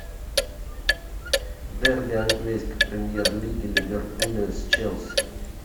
дерби английской премьер лиги ливерпуля с челси